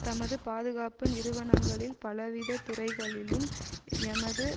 தமது பாதுகாப்பு நிறுவனங்களில் பலவித துறைகளிலும் எமது